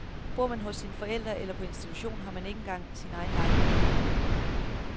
Bor man hos sine forældre eller på institution, har man ikke engang sin egen lejekontrakt.